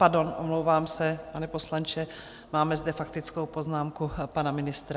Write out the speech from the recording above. Pardon, omlouvám se, pane poslanče, máme zde faktickou poznámku pana ministra.